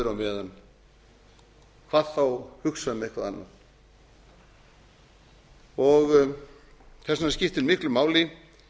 öðru á meðan hvað þá hugsa um eitthvað annað þess vegna skiptir miklu máli